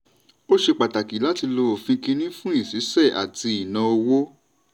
ó ṣe pàtàkì láti lo òfin kìnnì fún ìṣiṣẹ́ àti ìnáowó.